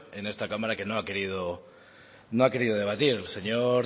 en esta cámara que no ha querido debatir el señor